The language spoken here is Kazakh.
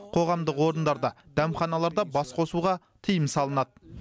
қоғамдық орындарда дәмханаларда бас қосуға тыйым салынады